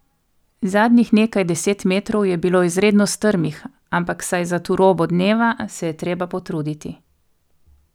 Zadnjih nekaj deset metrov je bilo izredno strmih, ampak saj za turobo dneva se je treba potruditi.